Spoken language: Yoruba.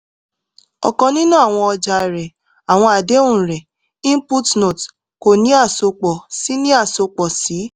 ọkan ninu awọn ọja rẹ awọn adehun rẹ; input note ko ni asopọ si ni asopọ si